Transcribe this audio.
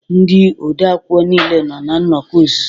Ndị odeakwụkwọ niile nọ na nnọkọ ọzụzụ